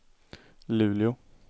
Luleå